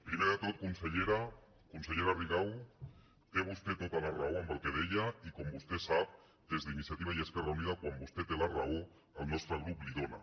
primer de tot consellera consellera rigau té vostè tota la raó en el que deia i com vostè sap des d’iniciativa i esquerra unida quan vostè té la raó el nostre grup la hi dóna